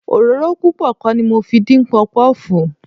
Òróró púpọ̀ kọ́ ni mo fi dín Pọpọ́ọ̀fù.